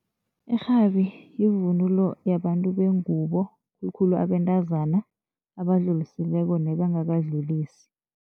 Irhabi yivunulo yabantu bengubo khulu khulu abentazana abadlulisileko nebangakadlulisi.